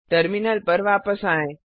terminal पर वापस आएँ